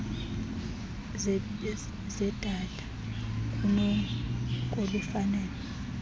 zedata kunoko lufanele